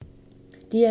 DR2